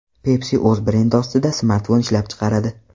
Pepsi o‘z brendi ostida smartfon ishlab chiqaradi.